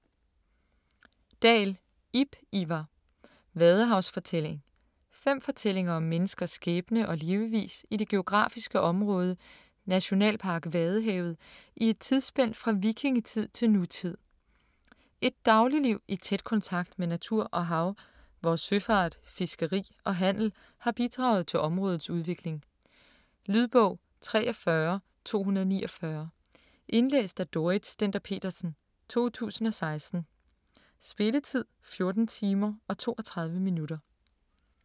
Dahl, Ib Ivar: Vadehavsfortælling Fem fortællinger om menneskers skæbne og levevis i det geografiske område Nationalpark Vadehavet i et tidsspænd fra vikingetid til nutid. Et dagligliv i tæt kontakt med natur og hav, hvor søfart, fiskeri og handel har bidraget til områdets udvikling. Lydbog 43249 Indlæst af Dorrit Stender-Petersen, 2016. Spilletid: 14 timer, 32 minutter.